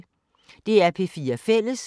DR P4 Fælles